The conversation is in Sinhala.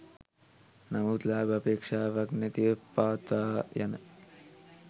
නමුත් ලාභ අපේක්ෂාවක් නැතිව පවත්වා යන